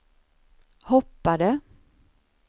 hoppade